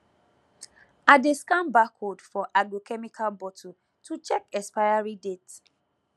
i dey scan barcode for agrochemical bottle to check expiry date